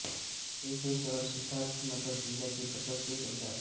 हे शहर सिद्धार्थ नगर जिल्ह्याचे प्रशासकीय केंद्र आहे